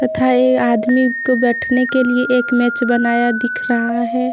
तथा ये आदमी के बैठने के लिए एक मैच बनाया दिख रहा है।